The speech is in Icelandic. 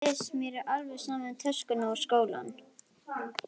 Iss, mér er alveg sama um töskuna og skólann